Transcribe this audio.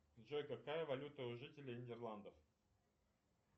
джой какая валюта у жителей нидерландов